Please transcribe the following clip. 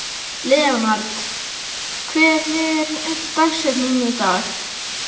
Leonhard, hver er dagsetningin í dag?